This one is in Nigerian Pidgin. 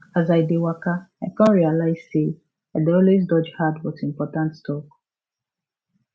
as i dey waka i come realize say i dey always dodge hard but important talk